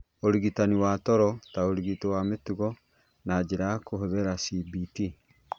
Ũrigitani wa toro ta ũrigiti wa mĩtugo na njĩra ya kũhũthĩra cbt